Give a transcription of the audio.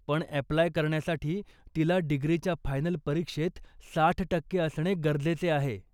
पण अॅप्लाय करण्यासाठी, तिला डिग्रीच्या फायनल परीक्षेत साठ टक्के असणे गरजेचे आहे.